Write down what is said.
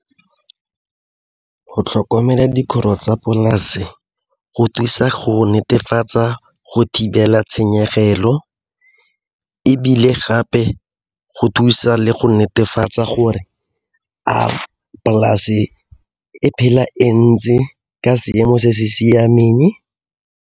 Go tlhokomela dikgoro tsa polase go thusa go netefatsa go thibela tshenyegelo ebile gape go thusa le go netefatsa gore a polase e phela e ntse ka seemo se se siameng?